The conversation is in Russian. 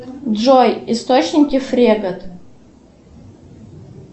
джой источники фрегат